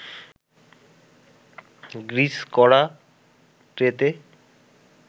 grease করা ট্রেতে